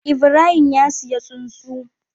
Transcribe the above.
Ibrahim ya siya tsuntsu